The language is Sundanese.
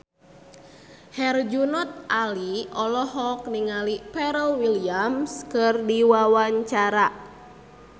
Herjunot Ali olohok ningali Pharrell Williams keur diwawancara